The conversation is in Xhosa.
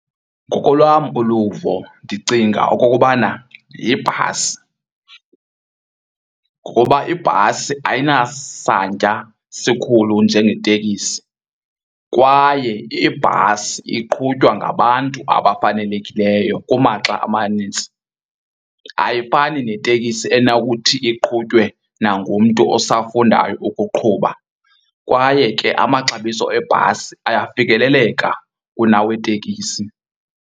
Ngokolwam uluvo, ndicinga okokubana yibhasi. Ngokuba ibhasi ayinasantya sikhulu njengeteksi kwaye ibhasi iqhutywa ngabantu abafanelekileyo kumaxa amanintsi, ayifani neteksi enokuthi iqhutywe nangumntu osafundayo ukuqhuba. Kwaye ke amaxabiso ebhasi ayafikeleleka kunaweteksi.